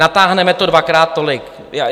Natáhneme to dvakrát tolik.